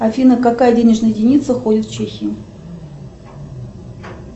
афина какая денежная единица ходит в чехии